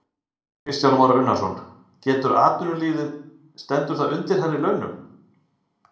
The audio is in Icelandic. Kristján Már Unnarsson: Getur atvinnulífið, stendur það undir hærri launum?